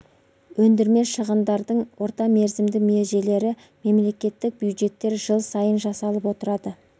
ендірме шығындардың орта мерзімді межелері мемлекеттік бюджеттер жыл сайын жасалып отырады